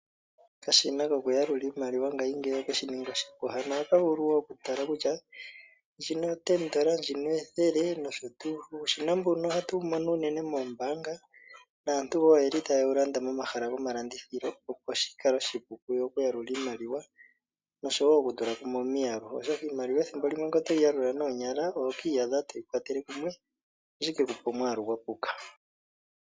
Okashina kokuyalula iimaliwa ngayingeyi ohake shi ningi oshipu. Hano ohaka vulu wo oku ulika kutya ndjino o$10, ndjino ethele nosho tuu. Uushina mbuno ohatu wu mono unene moombaanga naantu wo oyeli taye wu landa momahala gomalandithilo opo shi kale oshipu oku yalula iimaliwa nosho wo oku tula kumwe omiyalu. Oshoka iimaliwa ethimbo limwe ngele otoyi yalula noonyala, oto kiiyadha toyi kwatele kumwe, sho shi ke kupe omwaalu gwa puka.